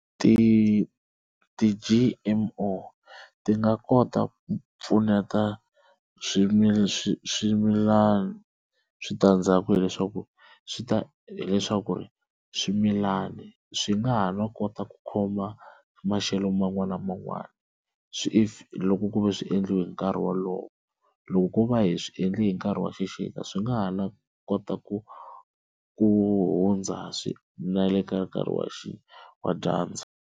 Ti ti-G_M_O ti nga kota ku pfuneta swimilana switandzhaku hileswaku swi ta hileswaku ri swimilani swi nga ha no kota ku khoma maxelo man'wani na man'wani swi easy if loko ku ve swi endliwe hi nkarhi wolowo, loko ku va hi swi endli hi nkarhi wa xixika swi nga ha no kota ku ku hundza na le ka nkarhi wa dyandza.